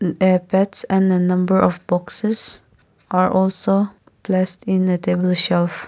apex and the number of boxes are also less in the table shelf.